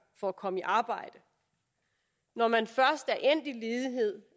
for at komme i arbejde når man først